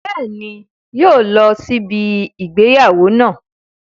Bẹ́ẹ̀ni, yóò lọ sí ibi ìgbéyàwó náà